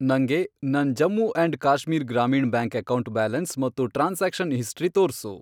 ನಂಗೆ ನನ್ Jammu and Kashmir Grameen bank account balance ಮತ್ತು ಟ್ರಾನ್ಸಾಕ್ಷನ್ ಹಿಸ್ಟರಿ ತೋರ್ಸು.